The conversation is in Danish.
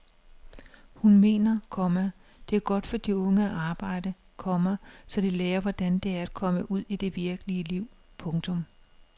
Hun mener, komma det er godt for de unge at arbejde, komma så de lærer hvordan det er at komme ud i det virkelige liv. punktum